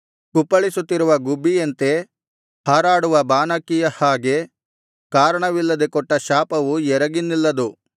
ಕುಪ್ಪಳಿಸುತ್ತಿರುವ ಗುಬ್ಬಿಯಂತೆ ಹಾರಾಡುವ ಬಾನಕ್ಕಿಯ ಹಾಗೆ ಕಾರಣವಿಲ್ಲದೆ ಕೊಟ್ಟ ಶಾಪವು ಎರಗಿ ನಿಲ್ಲದು